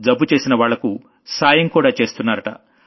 జబ్బు చేసిన వాళ్లకు సాయం కూడా చేస్తున్నారట